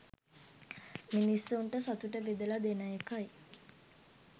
මිනිස්සුන්ට සතුට බෙදලා දෙන එකයි